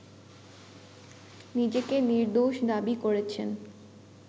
নিজেকে নির্দোষ দাবী করেছেন